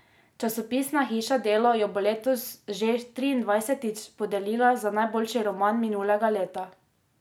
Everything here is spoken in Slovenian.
Časopisna hiša Delo jo bo letos že triindvajsetič podelila za najboljši roman minulega leta.